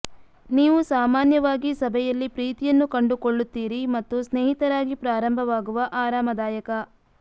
ನೀವು ಸಾಮಾನ್ಯವಾಗಿ ಸಭೆಯಲ್ಲಿ ಪ್ರೀತಿಯನ್ನು ಕಂಡುಕೊಳ್ಳುತ್ತೀರಿ ಮತ್ತು ಸ್ನೇಹಿತರಾಗಿ ಪ್ರಾರಂಭವಾಗುವ ಆರಾಮದಾಯಕ